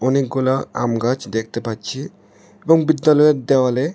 অনেকগুলা আম গাছ দেখতে পাচ্ছি এবং বিদ্যালয়ের দেওয়ালে--